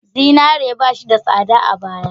Zinare ba shi da tsada a baya.